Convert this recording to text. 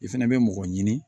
I fɛnɛ bɛ mɔgɔ ɲini